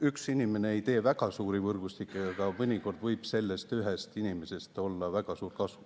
Üks inimene ei tee väga suuri võrgustikke, aga mõnikord võib sellest ühest inimesest olla väga suur kasu.